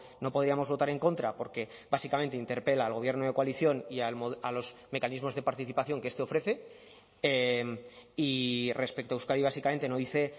no podíamos votar en contra porque básicamente interpela al gobierno de coalición y a los mecanismos de participación que este ofrece y respecto a euskadi básicamente no dice